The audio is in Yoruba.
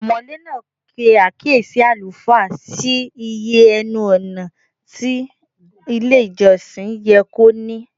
Ọmọ̀lé náà pe àkíyèsí àlùfáà sí iye ẹnu-ọ̀nà tí ilé-ìjọsìn yẹ kó ní.